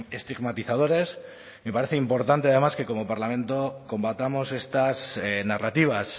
estigmatizadores me parece importante además que como parlamento combatamos estas narrativas